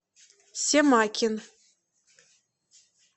семакин